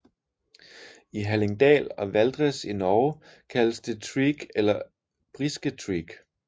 I Hallingdal og Valdres i Norge kaldes det treak eller brisketreak